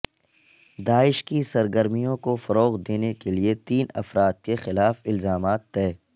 داعش کی سرگرمیوں کو فروغ دینے کے لئے تین افراد کے خلاف الزامات طے